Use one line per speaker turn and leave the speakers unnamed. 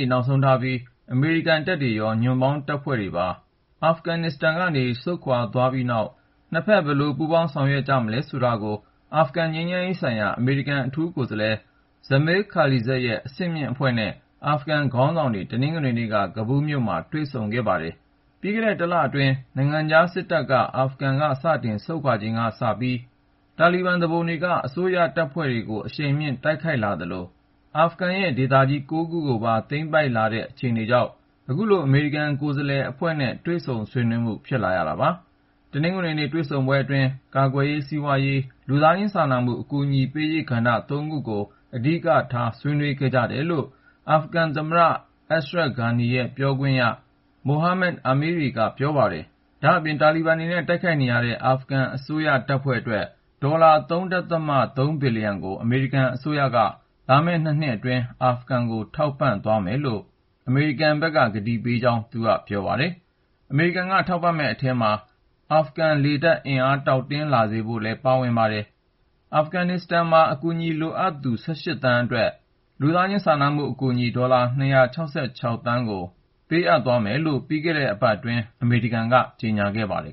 ေ့ နောက်ဆုံးထားပြီး အမေရိကန်တပ်တွေရော ညွန့်ပေါင်းတပ်ဖွဲ့တွေပါ အာဖဂန်နစ္စတန်ကနေ ဆုတ်ခွာသွားပြီးနောက် နှစ်ဖက် ဘယ်လို ပူးပေါင်းဆောင်ရွက်ကြမလဲ ဆိုတာကို အာဖဂန်ငြိမ်းချမ်းရေးဆိုင်ရာ အမေရိကန် အထူးကိုယ်စားလှယ် Zalmay Khalilzad ရဲ့ အဆင့်မြင့်အဖွဲ့နဲ့ အာဖဂန်ခေါင်းဆောင်တွေ တနင်္ဂနွေနေ့က ကဘူးလ်မြို့မှာ ဆွေးနွေးခဲ့ကြပါတယ်။ ပြီးခဲ့တဲ့ တလအတွင်း နိုင်ငံခြားစစ်တပ်တွေ အာဖဂန်က စတင်ဆုတ်ခွာချိန်ကစပြီး တာလီဘန်သူပုန်တွေက အစိုးရတပ်ဖွဲ့တွေကို အရှိန်မြှင့် တိုက်ခိုက်လာသလို အာဖဂန်ရဲ့ ဒေသကြီး ၉ ခုကိုပါ သိမ်းပိုက်လာတဲ့ အခြေအနေကြောင့် ခုလို အမေရိကန် ကိုယ်စားလှယ်အဖွဲ့နဲ့ တွေ့ဆုံဆွေးနွေးမှု ဖြစ်လာရတာပါ။ တနင်္ဂနွေနေ့ တွေ့ဆုံပွဲအတွင်း ကာကွယ်ရေး၊ စီးပွားရေးနဲ့ လူသားချင်းစာနာမှု အကူအညီပေးရေး ကဏ္ဍ ၃ ခုကို အဓိကထား ဆွေးနွေးခဲ့ကြတယ်လို့ အာဖဂန်သမ္မတ Ashraf Ghani ရဲ့ ပြောခွင့်ရပုဂ္ဂိုလ် Mohammad Amiri က ပြောပါတယ်။ ဒါ့အပြင် တာလီဘန်တွေနဲ့ တိုက်ခိုက်နေရတဲ့ အာဖဂန်အစိုးရ တပ်ဖွဲ့အတွက် ဒေါ်လာ ၃.၃ ဘီလျံကို အမေရိကန်အစိုးရက လာမယ့် ၂ နှစ်အတွင်း အာဖဂန်ကို ထောက်ပံ့သွားမယ်လို့ အမေရိကန် အထူးကိုယ်စားလှယ်က အာဖဂန်သမ္မတကို ကတိပေးသွားကြောင်းလည်း သူက ပြောဆိုပါတယ်။ အမေရိကန်က ထောက်ပံ့မယ့် အထဲမှာ အာဖဂန် လေတပ်အင်အား တောင့်တင်းလာစေရေး ပံ့ပိုးမှုတွေ ပါဝင်မှာဖြစ်ပါတယ်။ အာဖဂန်မှာ အကူအညီ လိုအပ်နေတဲ့ ပြည်သူ ၁၈ သန်းအတွက် လူသားချင်းစာနာမှု အကူအညီ ဒေါ်လာ ၂၆၆ သန်းကျော် ပေးအပ်သွားမယ်လို့ ပြီးခဲ့တဲ့ သီတင်းပတ်ထဲ အမေရိကန်က ကြေညာခဲ့ပါတယ်